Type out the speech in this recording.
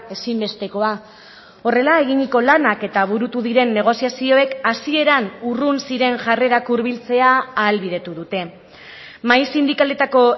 ezinbestekoa horrela eginiko lanak eta burutu diren negoziazioek hasieran urrun ziren jarrerak hurbiltzea ahalbidetu dute mahai sindikaletako